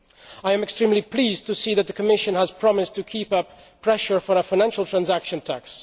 I am extremely pleased to see that the Commission has promised to keep up pressure for a financial transaction tax.